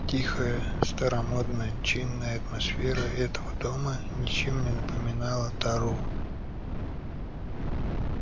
тихая старомодно-чинная атмосфера этого дома ничем не напоминала тару